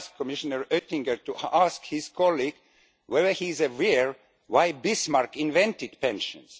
But I ask Commissioner Oettinger to ask his colleague whether he is aware of why Bismarck invented pensions.